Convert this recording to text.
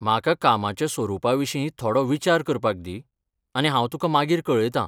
म्हाका कामाच्या स्वरूपा विशीं थोडो विचार करपाक दी आनी हांव तुका मागीर कळयतां.